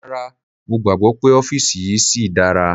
Rárá, mo gbàgbọ́ pé ọ́fìsì yìí síi dára.